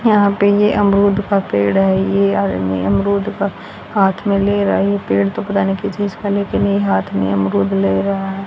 यहां पे ये अमरूद का पेड़ है ये आदमी अमरूद का हाथ में ले रहा है ये पेड़ तो पता नहीं किस चीज का लेकिन ये हाथ में अमरूद ले रहा है।